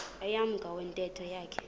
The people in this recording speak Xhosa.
emnyango wentente yakhe